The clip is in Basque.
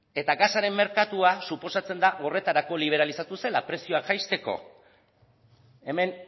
eta gasaren merkatua suposatzen da horretarako liberalizatu zela prezioak jaisteko hemen